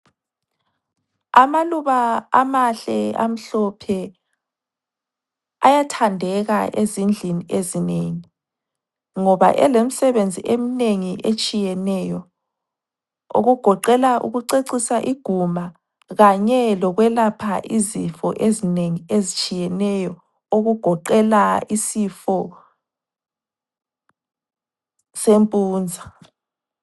Amaluba amahle amhlophe ayathandeka ezindlini ezinengi ngoba elemsebenzi emnengi etshiyeneyo okugoqela ukucecisa iguma kanye lokwelapha izifo ezinengi ezitshiyeneyo okugoqela isifo sempunza.